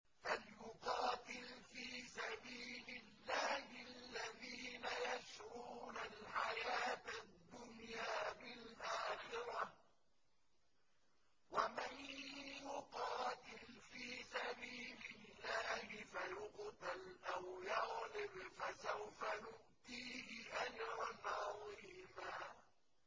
۞ فَلْيُقَاتِلْ فِي سَبِيلِ اللَّهِ الَّذِينَ يَشْرُونَ الْحَيَاةَ الدُّنْيَا بِالْآخِرَةِ ۚ وَمَن يُقَاتِلْ فِي سَبِيلِ اللَّهِ فَيُقْتَلْ أَوْ يَغْلِبْ فَسَوْفَ نُؤْتِيهِ أَجْرًا عَظِيمًا